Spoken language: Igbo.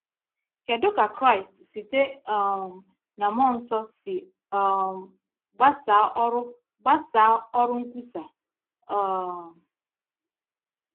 Kedu ka Kraịst site um na mmụọ nsọ si um gbasaa ọrụ gbasaa ọrụ nkwusa? um